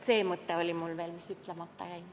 See mõte oli mul veel, mis enne jäi ütlemata.